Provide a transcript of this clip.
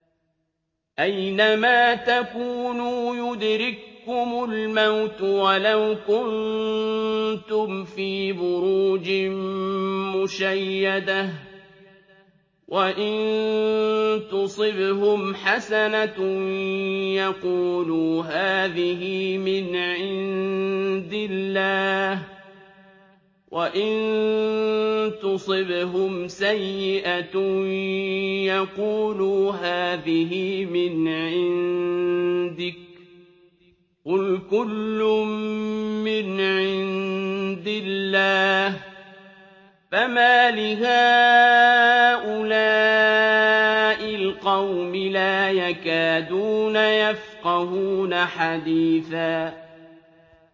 أَيْنَمَا تَكُونُوا يُدْرِككُّمُ الْمَوْتُ وَلَوْ كُنتُمْ فِي بُرُوجٍ مُّشَيَّدَةٍ ۗ وَإِن تُصِبْهُمْ حَسَنَةٌ يَقُولُوا هَٰذِهِ مِنْ عِندِ اللَّهِ ۖ وَإِن تُصِبْهُمْ سَيِّئَةٌ يَقُولُوا هَٰذِهِ مِنْ عِندِكَ ۚ قُلْ كُلٌّ مِّنْ عِندِ اللَّهِ ۖ فَمَالِ هَٰؤُلَاءِ الْقَوْمِ لَا يَكَادُونَ يَفْقَهُونَ حَدِيثًا